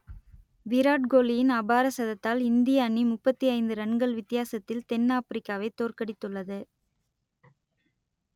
விராட் கோலியின் அபார சதத்தால் இந்திய அணி முப்பத்தி ஐந்து ரன்கள் வித்தியாசத்தில் தென் ஆப்பிரிக்காவை தோற்கடித்துள்ளது